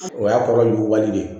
O y'a kɔrɔ jugu wale